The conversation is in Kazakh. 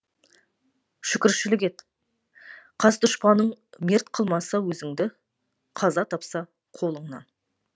шүкіршілік ет қас дұшпаныңмерт қылмаса өзіңді қаза тапса қолыңнан